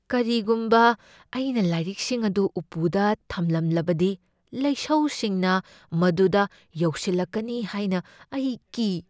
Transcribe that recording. ꯀꯔꯤꯒꯨꯝꯕ ꯑꯩꯅ ꯂꯥꯏꯔꯤꯛꯁꯤꯡ ꯑꯗꯨ ꯎꯞꯄꯨꯗ ꯊꯝꯂꯝꯂꯕꯗꯤ, ꯂꯩꯁꯧꯁꯤꯡꯅ ꯃꯗꯨꯗ ꯌꯧꯁꯤꯜꯂꯛꯀꯅꯤ ꯍꯥꯏꯅ ꯑꯩ ꯀꯤ꯫